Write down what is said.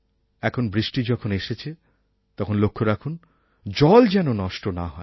এখন বৃষ্টি যখন এসেছে তখন লক্ষ্য রাখুন জল যেন নষ্ট না হয়